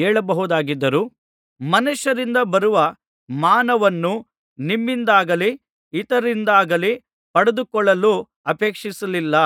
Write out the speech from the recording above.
ಹೇಳಬಹುದಾಗಿದ್ದರೂ ಮನುಷ್ಯರಿಂದ ಬರುವ ಮಾನವನ್ನು ನಿಮ್ಮಿಂದಾಗಲಿ ಇತರರಿಂದಾಗಲಿ ಪಡೆದುಕೊಳ್ಳಲು ಅಪೇಕ್ಷಿಸಲಿಲ್ಲ